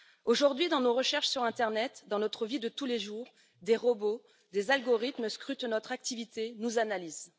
Aujourd'hui, dans nos recherches sur l'internet, dans notre vie de tous les jours, des robots, des algorithmes scrutent notre activité, nous analysent.